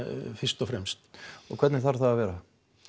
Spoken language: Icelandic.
fyrst og fremst og hvernig þarf það að vera